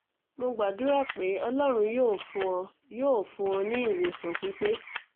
mo gbàdúrà pé ọlọ́run yóò fún ọ yóò fún ọ ní ìwòsàn pípe